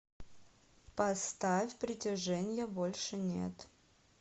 поставь притяженья больше нет